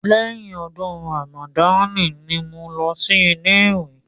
Lẹ́yìn ọdún Ramadan ni mò ń lọ sí ilé ìwé.